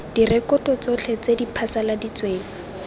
direkoto tsotlhe tse di phasaladitsweng